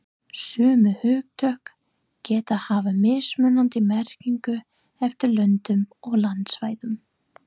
Sömu hugtök geta haft mismunandi merkingu eftir löndum og landsvæðum.